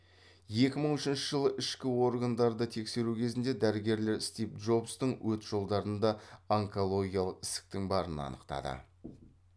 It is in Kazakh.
екі мың үшінші жылы ішкі органдарды тексеру кезінде дәрігерлер стив джобстың өт жолдарында онкологиялық ісіктің барын арықтады